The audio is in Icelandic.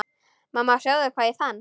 Mamma sjáðu hvað ég fann!